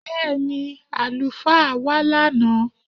Bẹ́ẹni, alufaa wa lánà